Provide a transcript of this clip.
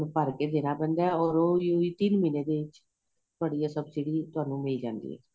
ਭਰ ਕੇ ਦੇਣਾ ਪੈਂਦਾ ਏ ਔਰ ਉਹੀ ਉਹੀ ਤਿੰਨ ਮਹੀਨੇਂ ਦੇ ਚ ਤੁਹਾਡੀ ਏ ਸਭਸਿਡੀ ਤੁਹਾਨੂੰ ਮਿਲ ਜਾਂਦੀ ਏ